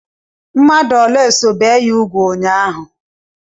Mmadụ ole so bie ya úgwù ụnyaahụ?